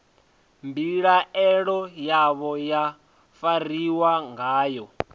mbilaelo yavho ya fariwa ngayo